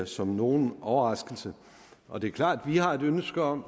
som nogen overraskelse og det er klart at vi har et ønske om